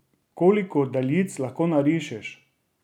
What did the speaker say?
Koliko daljic lahko narišeš?